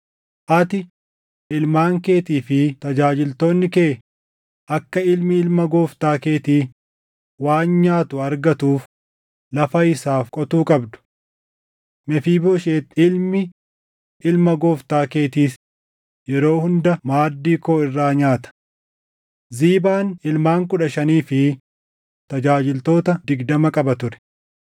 Ati, Ilmaan keetii fi tajaajiltoonni kee akka ilmi ilma gooftaa keetii waan nyaatu argatuuf lafa isaaf qotuu qabdu. Mefiibooshet ilmi ilma gooftaa keetiis yeroo hunda maaddii koo irraa nyaata.” Ziibaan ilmaan kudha shanii fi tajaajiltoota digdama qaba ture.